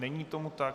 Není tomu tak.